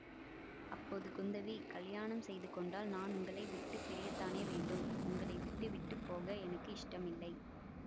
அப்போது குந்தவி கலியாணம் செய்து கொண்டால் நான் உங்களை விட்டு பிரியத்தானே வேண்டும் உங்களை விட்டுவிட்டு போக எனக்கு இஷ்டமில்லை